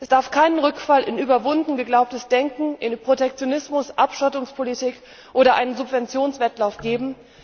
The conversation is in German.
Es darf keinen Rückfall in überwunden geglaubtes Denken, in Protektionismus, Abschottungspolitik oder einen Subventionswettlauf geben.